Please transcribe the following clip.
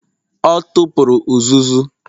Ọ tụpụrụ uzuzu.